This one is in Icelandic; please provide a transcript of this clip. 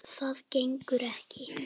Það gengur ekki!